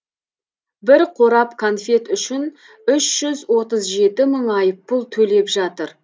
бір қорап конфет үшін үш жүз отыз жеті мың айыппұл төлеп жатыр